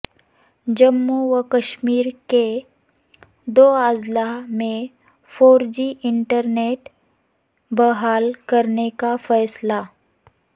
جموں و کشمیر کے دو اضلاع میں فور جی انٹرنیٹ بحال کرنے کا فیصلہ